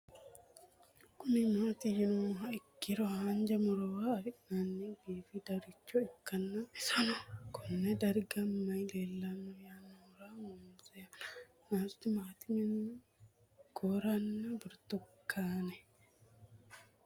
Kuni mati yinumoha ikiro hanja murowa afine'mona bifadoricho ikana isino Kone darga mayi leelanno yinumaro muuze hanannisu timantime gooranna buurtukaane